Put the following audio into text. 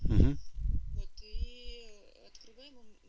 ты открывай